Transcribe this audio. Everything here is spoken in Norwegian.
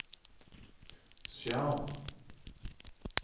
skjerm